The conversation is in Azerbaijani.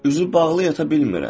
Üzü bağlı yata bilmirəm.